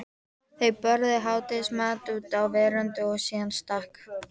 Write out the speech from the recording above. Þau borðuðu hádegismat úti á veröndinni og síðan stakk